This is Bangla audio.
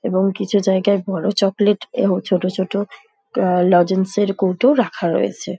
এবং কিছু জায়গায় বড়ো চকোলেট এবং ছোট ছোট কা-আ লজেন্স - এর কৌটোও রাখা রয়েছে।